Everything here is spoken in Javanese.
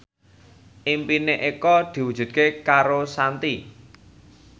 impine Eko diwujudke karo Shanti